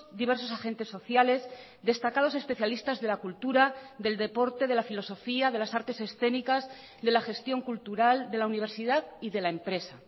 diversos agentes sociales destacados especialistas de la cultura del deporte de la filosofía de las artes escénicas de la gestión cultural de la universidad y de la empresa